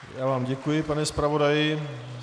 Já vám děkuji, pane zpravodaji.